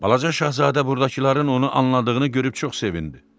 Balaca şahzadə burdakıların onu anladığını görüb çox sevindi.